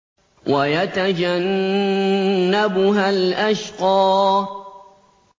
وَيَتَجَنَّبُهَا الْأَشْقَى